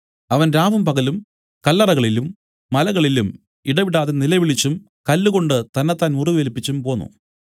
അവൻ രാവും പകലും കല്ലറകളിലും മലകളിലും ഇടവിടാതെ നിലവിളിച്ചും കല്ലുകൊണ്ട് തന്നെത്താൻ മുറിവേൽപ്പിച്ചും പോന്നു